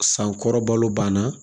Sankɔrɔbalo banna